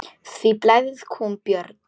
Hví blæðir kúm, Björn?